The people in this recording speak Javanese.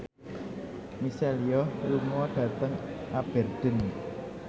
Michelle Yeoh lunga dhateng Aberdeen